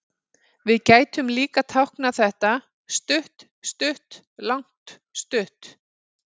Við gætum líka táknað þetta stutt-stutt-langt-stutt.